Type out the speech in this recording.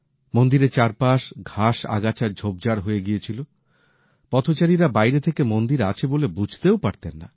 মন্দিরের চারপাশ ঘাস আগাছার ঝোপঝাড় হয়ে গিয়েছিল পথচারীরা বাইরে থেকে মন্দির আছে বলে বুঝতেও পারতেন না